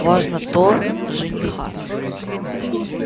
важно то жениха